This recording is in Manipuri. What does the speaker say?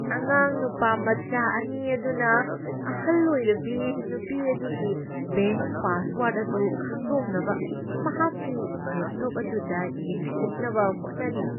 ꯑꯉꯥꯡ ꯅꯨꯄꯥꯃꯆꯥ ꯑꯅꯤ ꯑꯗꯨꯅ ꯑꯍꯜ ꯑꯣꯏꯔꯕꯤ ꯅꯨꯄꯤ ꯑꯗꯨꯒꯤ ꯕꯦꯡꯛ ꯄꯥꯁꯋꯔ꯭ꯗ ꯑꯗꯨ ꯈꯪꯗꯣꯛꯅꯕ ꯃꯍꯥꯛꯀꯤ ꯂꯦꯞꯇꯣꯞ ꯑꯗꯨꯗ ꯌꯦꯡꯁꯤꯟꯅꯕ ꯍꯣꯠꯅꯔꯤ꯫